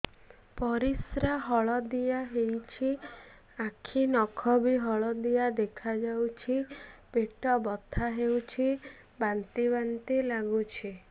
ପରିସ୍ରା ହଳଦିଆ ହେଉଛି ଆଖି ନଖ ବି ହଳଦିଆ ଦେଖାଯାଉଛି ପେଟ ବଥା ହେଉଛି ବାନ୍ତି ବାନ୍ତି ଲାଗୁଛି